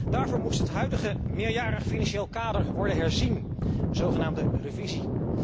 Daarvoor moest het huidige meerjarig financieel kader worden herzien een zogenaamde revisie.